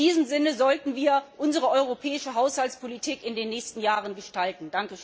In diesem Sinne sollten wir unsere europäische Haushaltspolitik in den nächsten Jahren gestalten.